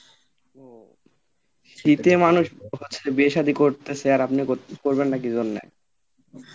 ও শীতে মানুষ বিয়ে সাদি করতেছে আর আপনি করবেন না কি জন্যে?